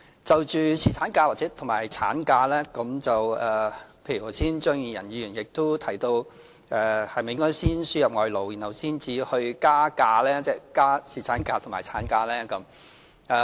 就着侍產假和產假，例如張宇人議員剛才提到，是否應該先輸入外勞，然後才去"加假"，即增加侍產假和產假。